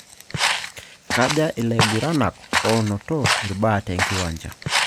Kaja ilaiguranak oonoto irbaa tenkiwanja?